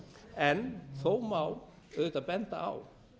en þó má auðvitað benda á